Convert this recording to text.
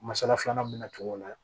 Masala filanan bɛna tu o la